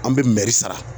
An bɛ mɛri sara